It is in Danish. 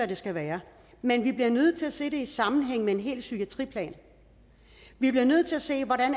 det skal være men vi bliver nødt til at se det i sammenhæng med en hel psykiatriplan vi bliver nødt til at se hvordan